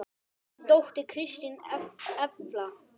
Þín dóttir, Kristín Elfa.